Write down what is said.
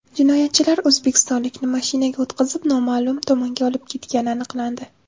Jinoyatchilar o‘zbekistonlikni mashinaga o‘tqizib, noma’lum tomonga olib ketgani aniqlandi.